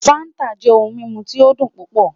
Fanta jẹ ohun mimu ti o dun pupọ